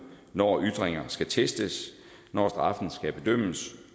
når ytringer skal testes når straffen skal bedømmes